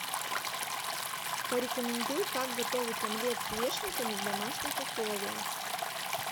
порекомендуй как готовить омлет с вешенками в домашних условиях